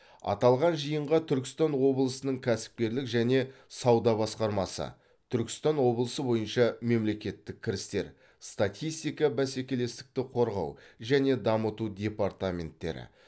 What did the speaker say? аталған жиынға түркістан облысының кәсіпкерлік және сауда басқармасы түркістан облысы бойынша мемлекеттік кірістер статистика бәсекелестікті қорғау және дамыту департаменттері